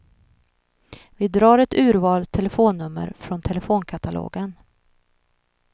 Vi drar ett urval telefonnummer från telefonkatalogen.